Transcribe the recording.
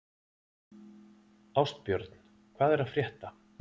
Ástbjörn, hvað er að frétta?